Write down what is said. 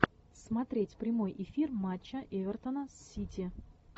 смотреть прямой эфир матча эвертона с сити